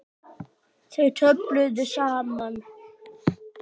Þau töluðu saman.